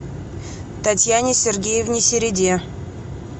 татьяне сергеевне середе